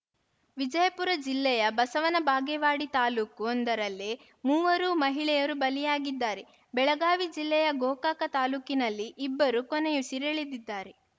ವಿಜಯಪುರ ಜಿಲ್ಲೆಯ ಬಸವನ ಬಾಗೇವಾಡಿ ತಾಲೂಕು ಒಂದರಲ್ಲೇ ಮೂವರು ಮಹಿಳೆಯರು ಬಲಿಯಾಗಿದ್ದರೆ ಬೆಳಗಾವಿ ಜಿಲ್ಲೆಯ ಗೋಕಾಕ ತಾಲೂಕಿನಲ್ಲಿ ಇಬ್ಬರು ಕೊನೆಯುಸಿರೆಳೆದಿದ್ದಾರೆ